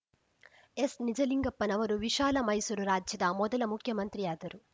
ಎಸ್‌ನಿಜಲಿಂಗಪ್ಪನವರು ವಿಶಾಲ ಮೈಸೂರು ರಾಜ್ಯದ ಮೊದಲ ಮುಖ್ಯಮಂತ್ರಿಯಾದರು